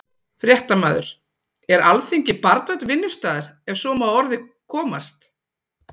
Fréttamaður: Er Alþingi barnvænn vinnustaður, ef svo má að orði komast?